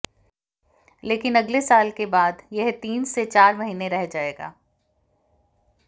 लेकिन अगले साल के बाद यह तीन से चार महीने रह जाएगा